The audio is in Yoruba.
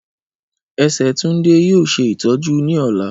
Ẹsẹ Tunde yoo ṣe itọju ni ọla.